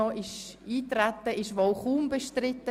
– Ich sehe keine Einwände.